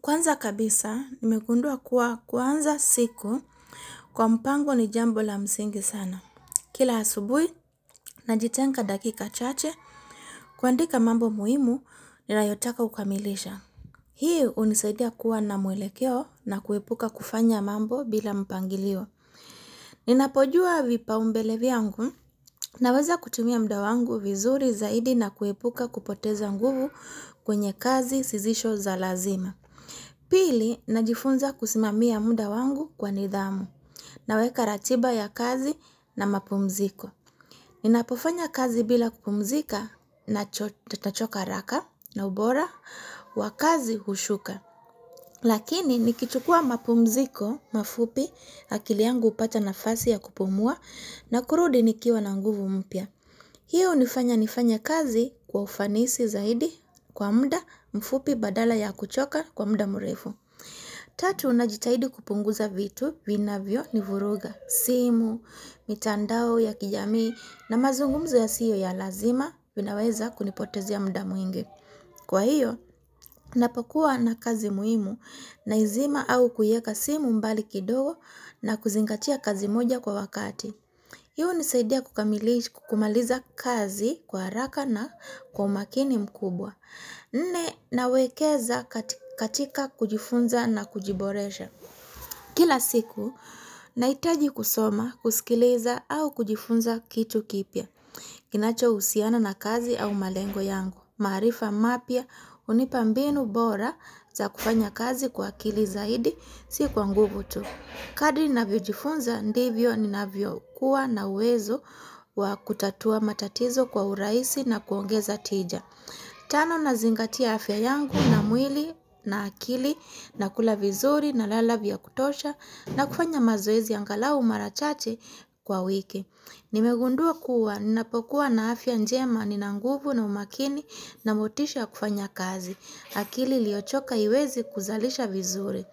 Kwanza kabisa, nimegundua kuwa kuanza siku kwa mpango ni jambo la msingi sana. Kila asubuhi, najitenga dakika chache, kuandika mambo muhimu, ninayotaka kukamilisha. Hii hunisaidia kuwa na mwelekeo na kuepuka kufanya mambo bila mpangilio. Ninapojua vipaumbele vyangu, ninaweza kutimia mda wangu vizuri zaidi na kuepuka kupoteza nguvu kwenye kazi zisizo za lazima. Pili na jifunza kusimamia munda wangu kwa nidhamu na weka ratiba ya kazi na mapumziko. Ninapofanya kazi bila kupumzika nitachoka haraka na ubora wa kazi hushuka. Lakini nikichukua mapumziko mafupi akili yangu hupata nafasi ya kupumua na kurudi nikiwa na nguvu mpya. Hiyo hunifanya nifanye kazi kwa ufanisi zaidi kwa muda mfupi badala ya kuchoka kwa muda murefu. Tatu ninajitahidi kupunguza vitu vinavyo ni vuruga, simu, mitandao ya kijamii na mazungumzo ya siyo ya lazima vinaweza kunipotezea muda mwingi. Kwa hiyo, ninapakua na kazi muhimu naizima au kuiweka simu mbali kidogo na kuzingatia kazi moja kwa wakati. Hii hunisaidia kukamilisha kukamiliza kazi kwa haraka na kwa umakini mkubwa. Mimi nawekeza katika kujifunza na kujiboresha. Kila siku, nahitaji kusoma, kusikiliza au kujifunza kitu kipya. Kinacho husiana na kazi au malengo yangu. Maarifa mapya hunipa mbinu bora za kufanya kazi kwa akili zaidi, si kwa nguvu tu. Kadri ninavyo jifunza ndivyo ni navyo kuwa na uwezo wa kutatua matatizo kwa urahisi na kuongeza tija. Tano na zingatia afya yangu na mwili na akili na kula vizuri na lala vya kutosha na kufanya mazoezi angalau mara chache kwa wiki. Nimegundua kuwa, ninapokuwa na afya njema, ninanguvu na umakini na motisha kufanya kazi. Akili iliyochoka haiwezi kuzalisha vizuri.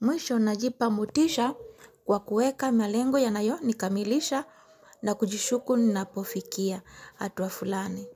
Mwisho ninajipa motisha kwa kuweka melengo ya nayo nikamilisha na kujishuku ninapofikia hatua fulani.